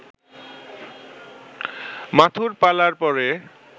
মাথুর পালার পরে